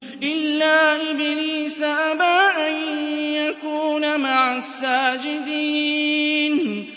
إِلَّا إِبْلِيسَ أَبَىٰ أَن يَكُونَ مَعَ السَّاجِدِينَ